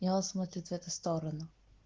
и он смотрит в эту сторону